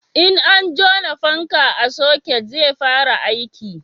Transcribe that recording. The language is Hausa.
in an jona fanka a soket zai fara aiki